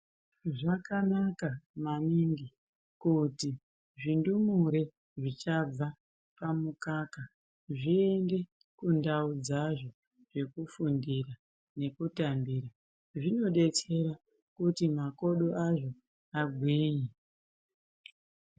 Zvakanaka maningi kuti zvindumure zvichabva pamukaka zviende kundau dzazvo dzekufundira nekutambira zvinodetsera kuti makodo azvo agwinye.